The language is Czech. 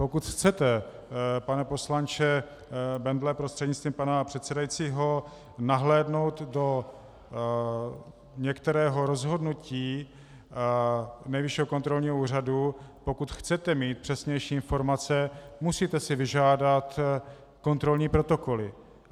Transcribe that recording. Pokud chcete, pane poslanče Bendle prostřednictvím pana předsedajícího, nahlédnout do některého rozhodnutí Nejvyššího kontrolního úřadu, pokud chcete mít přesnější informace, musíte si vyžádat kontrolní protokoly.